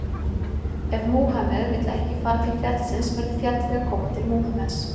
Ef Múhameð vill ekki fara til fjallsins verður fjallið að koma til Múhameðs